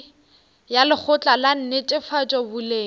ya lekgotla la netefatšo boleng